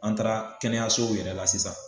An taara kɛnɛyasow yɛrɛ la sisan